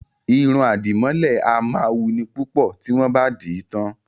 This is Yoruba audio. Irun àdìmọ́lẹ̀ a máa wuni púpọ̀ tí wọ́n bá dì í tán